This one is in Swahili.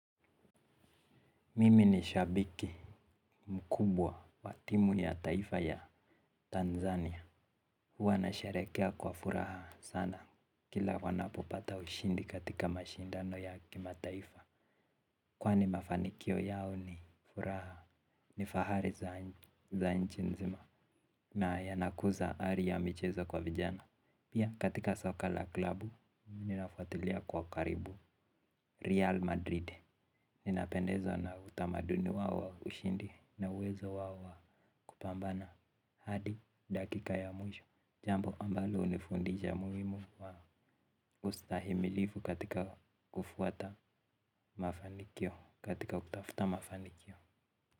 Mimi ni shabiki mkubwa wa timu ya taifa ya Tanzania. Huwa nasharehekea kwa furaha sana. Kila wanapopata ushindi katika mashindano ya kimataifa kwani mafanikio yao ni furaha ni fahari za nchi nzima na yanakuza ari ya michezo kwa vijana. Pia katika soka la klabu ninafuatilia kwa karibu Real Madrid. Ninapendezwa na utamaduni wao wa ushindi na uwezo wao wa kupambana hadi dakika ya mwisho. Jambo ambalo hunifundisha umuhimu wa ustahimilivu katika kufuata mafanikio katika kutafuta mafanikio.